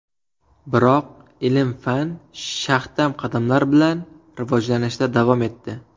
Biroq ilm-fan shaxdam qadamlar bilan rivojlanishda davom etdi.